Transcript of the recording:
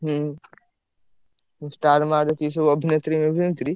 ହୁଁ! ଆଉ star ମାର ଯେତିକି ସବୁ ଅଭିନେତ୍ରୀ ଫଭିନେତ୍ରୀ।